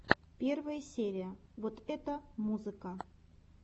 первая серия вот это музыка